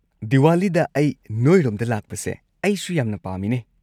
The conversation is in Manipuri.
ꯗꯤꯋꯥꯂꯤꯗ ꯑꯩ ꯅꯣꯏꯔꯣꯝꯗ ꯂꯥꯛꯄꯁꯦ ꯑꯩꯁꯨ ꯌꯥꯝꯅ ꯄꯥꯝꯃꯤꯅꯦ꯫